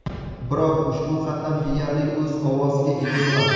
Biroq ushbu qatlam deyarli o‘z ovoziga ega emas.